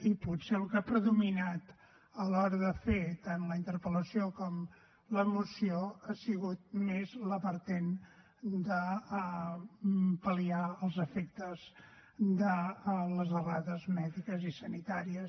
i potser el que ha predominat a l’hora de fer tant la interpel·lació com la moció ha sigut més la vessant de pal·liar els efectes de les errades mèdiques i sanitàries